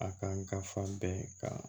A kan ka fa bɛn ka